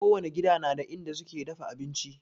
Kowani gida na da inda suke dafa abinci